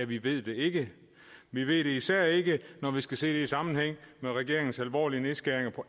vi ved det ikke vi ved det især ikke når vi skal se det i sammenhæng med regeringens alvorlige nedskæringer i